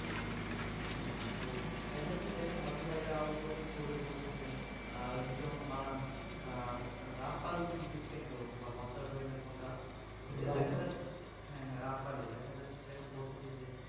হ্যাঁ তো দেখা যাচ্ছে দেখেন হয়তো বা এইটা উদ্বোধন করবে বলতেছে ওই যে যেমন আহ রামপালজি বিদ্যুৎ কেন্দ্র বা বাছাবাড়ি না কোনটা কোনটা দেখা যাচ্ছে হ্যাঁ হ্যাঁ রামপালের দেখা যাচ্ছে যে এখন বলতেছে যে